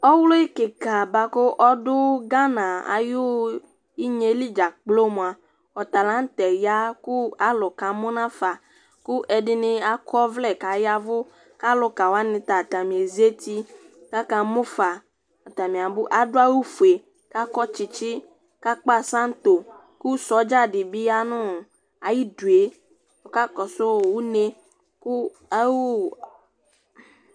Ɔwlɩ kɩka bʋa kʋ ɔdʋ Ghana ayʋ inyeli dzakplo mʋa, ɔta la nʋ tɛ ya kʋ alʋ kamʋ nafa ,kʋ ɛdɩnɩ akɔ ɔvlɛ kayavʋ, kalʋka wanɩ ta atamezati kaka mʋ fa, atanɩ abʋ, adʋ awʋ fue, kakɔ tsɩtsɩ kakpasanto, kʋ sɔdza dɩ bɩ ya nɔɔ ayidue ɔka kɔsʋ une